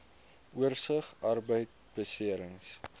oorsig arbeidbeserings